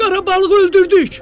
“Qara balığı öldürdük!”